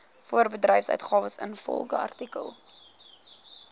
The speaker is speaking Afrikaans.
voorbedryfsuitgawes ingevolge artikel